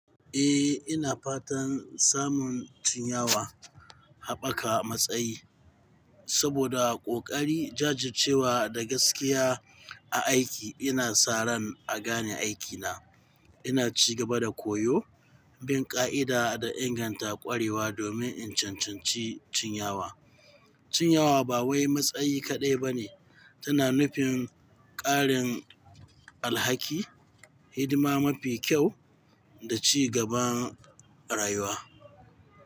Eh, ina fatan samun cinyawa haɓaka matsayi saboda ƙoƙari jajircewa da gaskiya a aiki ina sa ran a gane aikina. Ina ci gaba da koyo, bin ƙa'ida da inganta ƙwarewa domin in cancanci cinyawa. Cinyawa ba wai matsayi kaɗai ba ne, tana nufin ƙarin alhaki, hidima mafi kyau da ci gaban rayuwa.